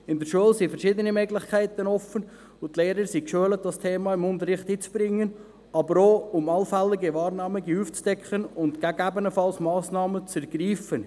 In der Schule sind verschiedene Möglichkeiten offen, und die Lehrer sind geschult, dieses Thema im Unterricht einzubringen, aber auch, um allfällige Wahrnehmungen aufzudecken und gegebenenfalls Massnahmen zu ergreifen.